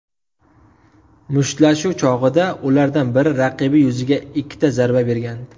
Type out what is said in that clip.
Mushtlashuv chog‘ida ulardan biri raqibi yuziga ikkita zarba bergan.